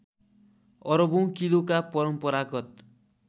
अरबौँ किलोका परम्परागत